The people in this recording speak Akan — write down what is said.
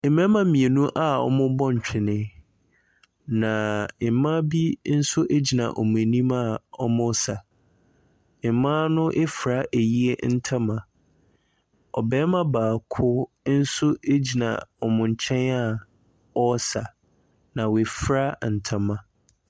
Mmarima mmienu a wɔrebɔ twene, na mmaa bi nso gyina wɔn anim a wɛresa. Mmaa no afira ayie ntoma. Ɔbarima baako nso gyina wɔn nkyɛn a ɔresa, na wafira ntoma.